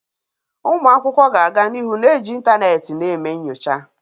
Ụmụ akwụkwọ ga-aga n'ihu na-eji ịntanetị na eme nyocha.